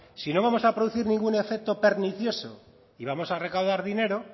si no vamos a producir ningún efecto pernicioso y vamos a recaudar dinero